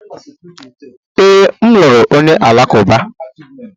Ee, m lụrụ onye Alakụba.